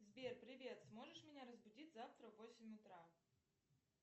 сбер привет сможешь меня разбудить завтра в восемь утра